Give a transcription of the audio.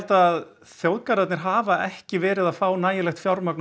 að þjóðgarðarnir hafa ekki verið að fá nægt fjármagns og